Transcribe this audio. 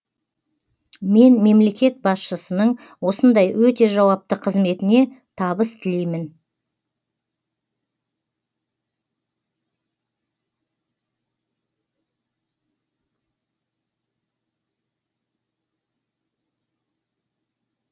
мен мемлекет басшысының осындай өте жауапты қызметіне табыс тілеймін